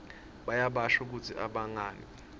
bayabasho kutsi abagangi